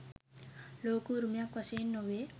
ලෝක උරුමයක් වශයෙන් නොවේ.